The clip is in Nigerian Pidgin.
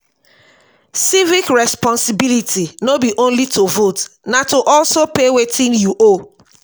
civic responsibility no be only to vote na to also pay wetin you owe.